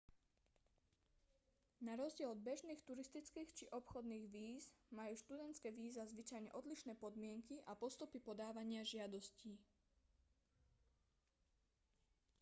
narozdiel od bežných turistických či obchodných víz majú študentské víza zvyčajne odlišné podmienky a postupy podávania žiadostí